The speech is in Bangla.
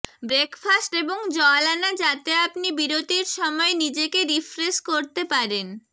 ব্রেকফাস্ট এবং জল আনা যাতে আপনি বিরতির সময় নিজেকে রিফ্রেশ করতে পারেন